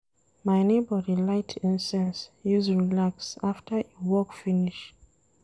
My nebor dey light incense use relax after e work finish.